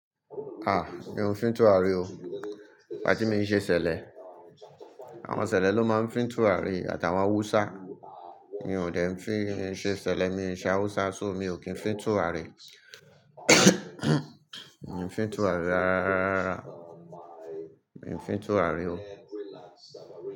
Ah! Mi ò fi ń tùràrí o. Ìgbà tí mi ń ṣe ṣẹlẹ, àwọn ṣẹlẹ ló máa ń fi ń tùràrí àtàwọn Hausa. Mi ò dè ẹ́ fi ṣe ṣẹlẹ, mi ń ṣe Hausa só mi ò kí ń fi ń tùràrí. Mi ò fi ń tùràrí rárá rara. Mi ò fi ń tùràrí o.